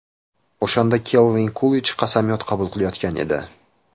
O‘shanda Kalvin Kulij qasamyod qabul qilayotgan edi.